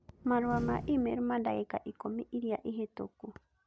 Marũa ma I-Mel ma dagika Ikũmi Ĩrĩa Ĩhĩtũku